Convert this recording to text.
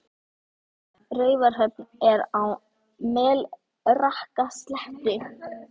Raufarhöfn er á Melrakkasléttu.